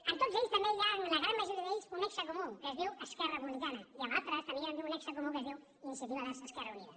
en tots ells també hi ha en la gran majoria d’ells un nexe comú que es diu esquerra republicana i en altres també hi ha un nexe comú que es diu iniciativa verds esquerra unida